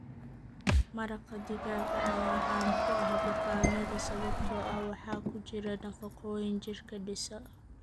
Maraqa digaaga ayaa caan ku ah bukaanada sababtoo ah waxaa ku jira nafaqooyin jirka dhisa.